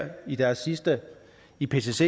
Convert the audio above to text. i deres sidste ipcc